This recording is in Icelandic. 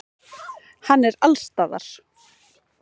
Hann er allsstaðar.